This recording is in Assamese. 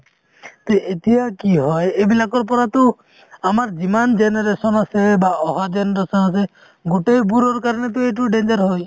তে এতিয়া কি হয় এইবিলাকৰ পৰাতো আমাৰ যিমান generation আছে বা অহা generation আছে গোটেইবোৰৰ কাৰণেতো এইটো danger হয়